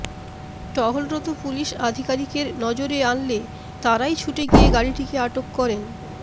টহলরত police আধিকারিকের নজরে আনলে তারাই ছুটে গিয়ে গাড়িটিকে আটক করেন